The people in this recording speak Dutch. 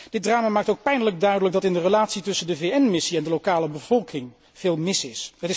Dit drama maakt ook pijnlijk duidelijk dat in de relatie tussen de VN missie en de lokale bevolking veel mis is.